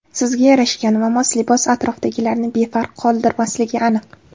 Sizga yarashgan va mos libos atrofdagilarni befarq qoldirmasligi aniq.